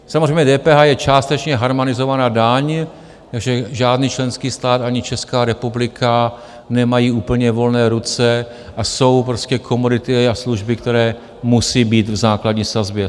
Samozřejmě DPH je částečně harmonizovaná daň, takže žádný členský stát ani Česká republika nemají úplně volné ruce a jsou prostě komodity a služby, které musí být v základní sazbě.